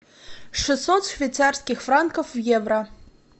шестьсот швейцарских франков в евро